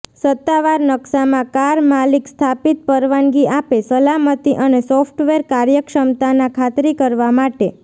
સત્તાવાર નકશામાં કાર માલિક સ્થાપિત પરવાનગી આપે સલામતી અને સોફ્ટવેર કાર્યક્ષમતાના ખાતરી કરવા માટે